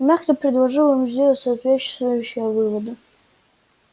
и мягко предложил им сделать соответствующие выводы